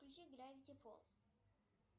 включи гравити фолз